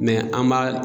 an b'a